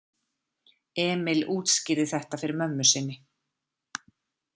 Emil útskýrði þetta fyrir mömmu sinni.